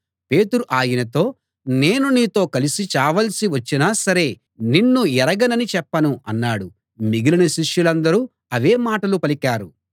పేతురు ఆయనతో నేను నీతో కలిసి చావాల్సి వచ్చినా సరే నిన్ను ఎరగనని చెప్పను అన్నాడు మిగిలిన శిష్యులందరూ అవే మాటలు పలికారు